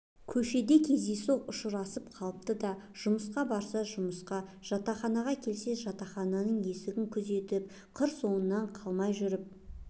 көшеде кездейсоқ ұшырасып қалыпты да жұмысқа барса жұмыста жатақханаға келсе жатақхананың есігін күзетіп қыр соңынан қалмай жүріп